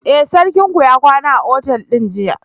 Eh, sarkinku ya kwana a otal din jiya.